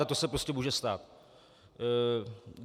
A to se prostě může stát.